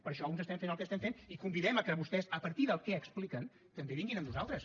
per això uns estem fent el que estem fent i els convidem a vostès a partir del que expliquen que també vinguin amb nosaltres